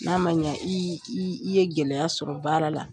N'a ma ɲɛ i i ye gɛlɛya sɔrɔ baara la